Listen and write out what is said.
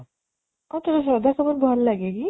ଅ ତତେ ଶ୍ରଦ୍ଧା କପୂର ଭଲ ଲାଗେ କି?